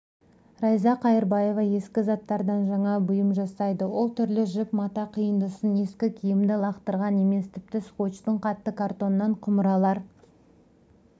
райза қайырбаева ескі заттардан жаңа бұйым жасайды ол түрлі жіп мата қиындысын ескі киімді лақтырған емес тіпті скочтың қатты картонынан құмыралар